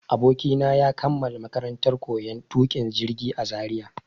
Abokina ya kammala makarantar koyon tuƙin jirgi a Zaria.